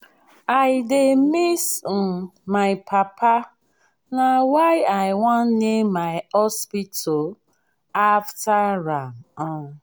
i dey miss um my papa na why i wan name my hospital after am um